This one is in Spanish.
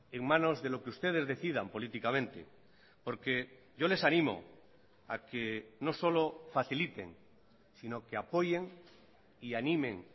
en manos de lo que ustedes decidan políticamente porque yo les animo a que no solo faciliten sino que apoyen y animen